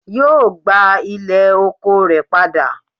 Yóò gbà ilẹ̀ oko rẹ̀ padà